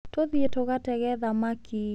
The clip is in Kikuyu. Tũthiĩ tũgatege thamaki.